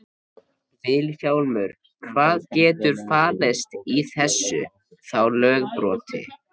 Vilhjálmur, hvað getur falist í þessu þá lögbroti?